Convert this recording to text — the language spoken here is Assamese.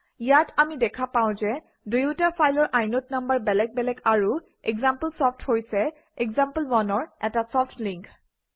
ইয়াত আমি দেখা পাওঁ যে দুয়োটা ফাইলৰ ইনদে নাম্বাৰ বেলেগ বেলেগ আৰু এক্সাম্পলচফ্ট হৈছে example1 অৰ এটা ছফ্ট link